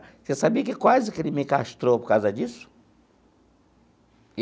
Você sabia que quase que ele me castrou por causa disso?